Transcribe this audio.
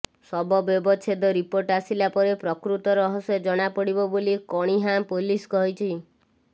ଶବ ବ୍ୟବଚ୍ଛେଦ ରିପୋର୍ଟ ଆସିଲା ପରେ ପ୍ରକୃତ ରହସ୍ୟ ଜଣାପଡିବ ବୋଲି କଣିହାଁ ପୋଲିସ କହିଛି